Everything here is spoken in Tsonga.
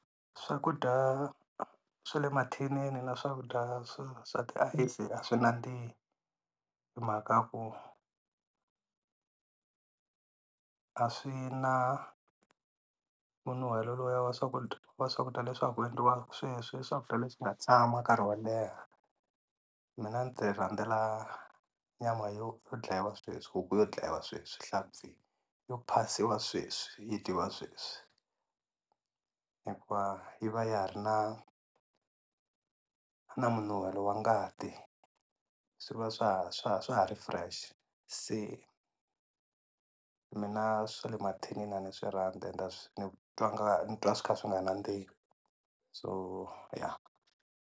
Swakudya swa le mathinini na swakudya swa swa tiayisi a swi nandzihi hi mhaka ku a swi na ku nuhwela lowuya wa swakudya wa swakudya leswi swa ha ku endliwaku sweswi i swakudya leswi nga tshama nkarhi wo leha mina ni ti rhandzela nyama yo dlayiwa sweswi, huku yo dlayiwa sweswi, Nhlampfi yo phasiwa sweswi yi dyiwa sweswi hi ku va yi va ya ha ri na na minuwhelo wa ngati swi va swa swa swa ha ri fresh se mina swa le mathinini a ni swi rhandzi ni twa nga ni twa swi kha swi nga nandzihi so ya.